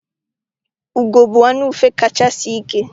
Ugo bụ anụ ufe kacha sie ike.